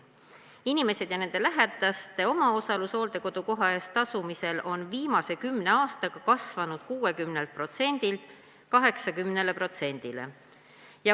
Inimeste ja nende lähedaste omaosalus hooldekodukoha eest tasumisel on viimase kümne aastaga kasvanud 60%-lt 80%-le.